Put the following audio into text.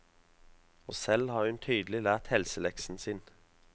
Og selv har hun tydelig lært helseleksen sin.